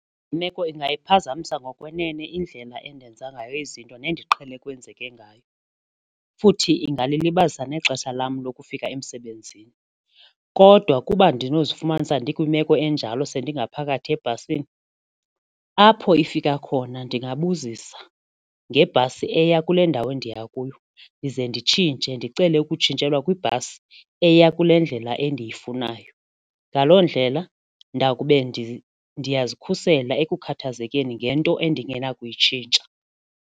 Le meko ingaphazamisa ngokwenene indlela endenza ngayo izinto nendiqhele kwenzeke ngayo futhi ingalilibazisa nexesha lam lokufika emsebenzini. Kodwa ukuba ndinokuzifumanisa ndikwimeko enjalo sendingaphakathi ebhasini, apho ifika khona ndingabuzisa ngebhasi eya kule ndawo ndiya kuyo ndize nditshintshe ndicele ukutshintshelwa kwibhasi eya kule ndlela endiyifunayo. Ngaloo ndlela ndakube ndiyazikhusela ekukhuthazekeni ngento endingenakuyitshintsha.